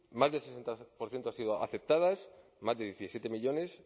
más del sesenta por ciento han sido aceptadas más de diecisiete millónes